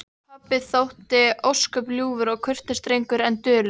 Pabbi þótti ósköp ljúfur og kurteis drengur en dulur.